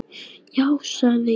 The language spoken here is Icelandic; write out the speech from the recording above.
Já, sagði Jóhann.